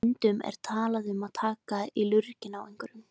Stundum er talað um að taka í lurginn á einhverjum.